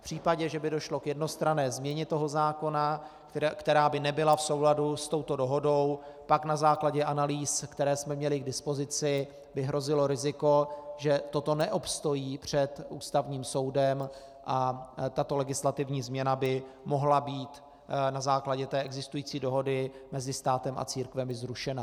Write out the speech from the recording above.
V případě, že by došlo k jednostranné změně toho zákona, která by nebyla v souladu s touto dohodou, pak na základě analýz, které jsme měli k dispozici, by hrozilo riziko, že toto neobstojí před Ústavním soudem, a tato legislativní změna by mohla být na základě té existující dohody mezi státem a církvemi zrušena.